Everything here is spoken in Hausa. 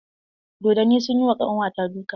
Dodonni sun yi ma ƙanwa ta duka.